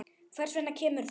Hvers vegna kemur það?